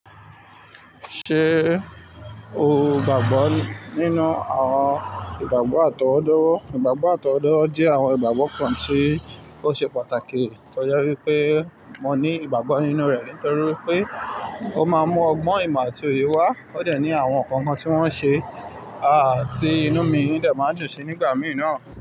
Ṣé o gbàgbọ́ nínú àwọn ìgbàgbọ́ àtọwọ́dá? Ìgbàgbọ́ àtọwọ́dá jẹ́ àwọn ìgbàgbọ́ kan tí ó ṣe pàtàkì. Tọ́je wípé mo ní ìgbàgbọ́ nínú rẹ̀ nítorí wipé ó máa ń mú ọgbọ́n ìmọ̀ àti òye wá. Ó de ní àwọn nǹkan kan tí wọ́n ṣe, aà tí inú mi dẹ̀ máa n dùn sí nígbà mìí naa.